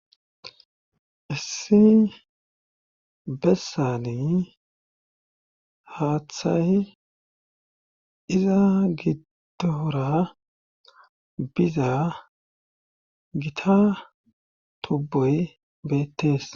issi bessani haaththayi iza giddora biza gita tubboy beettees